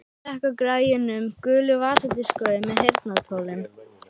Ég slekk á græjunum, gulu vasadiskói með heyrnartólum.